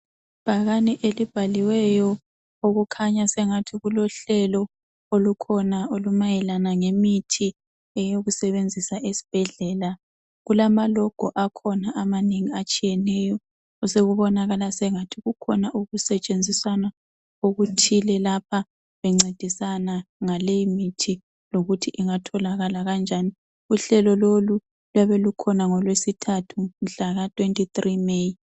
ibhakane elibhaliweyo okukhanya sengathi kulohlelo olukhona olumayelana lemithi yokusebenzisa esibhedlela kulama logo akhona amanengi atshiyeneyo osekubonakala sengathi kukhona okusetshenziswayo okuthile lapha bencedisana ngaleyi mithi lokuthi ingatholakala kanjani uhlelo lolu luyabe lukhona ngolwesithathu mhlaka 23 May